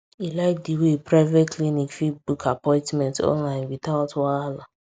e like the way private clinic fit book appointment online without wahala